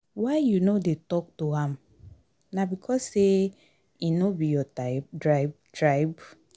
why you no dey tok to am? na because sey im no be your tribe?